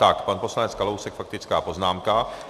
Tak pan poslanec Kalousek faktická poznámka.